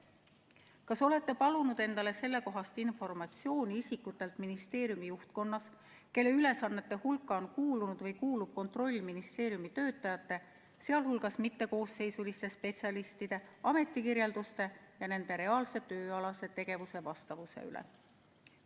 Kas olete palunud endale sellekohast informatsiooni isikutelt ministeeriumi juhtkonnas, kelle ülesannete hulka on kuulunud või kuulub kontroll ministeeriumi töötajate, sh mittekoosseisuliste spetsialistide ametikirjelduste ja nende reaalse tööalase tegevuse vastavuse üle?